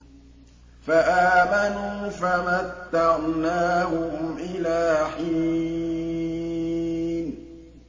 فَآمَنُوا فَمَتَّعْنَاهُمْ إِلَىٰ حِينٍ